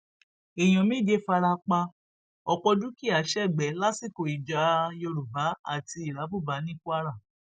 èèyàn méje fara pa ọpọ dúkìá sẹgbẹ lásìkò ìjà yorùbá àti irábùbá ní kwara